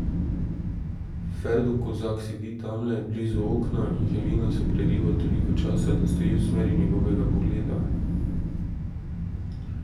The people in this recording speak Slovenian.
Ferdo Kozak sedi tamle, blizu okna, in Helena se preriva toliko časa, da stoji v smeri njegovega pogleda.